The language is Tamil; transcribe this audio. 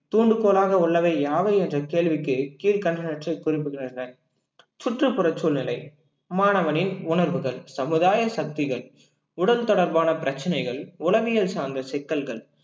தூண்டுகோலாக உள்ளவை யாவை என்ற கேள்விக்கு கீழ்கண்டனவற்றை குறிப்பிடுகின்றனர் சுற்றுப்புறச் சூழ்நிலை மாணவனின் உணர்வுகள் சமுதாய சக்திகள் உடல் தொடர்பான பிரச்சனைகள் உளவியல் சார்ந்த சிக்கல்கள்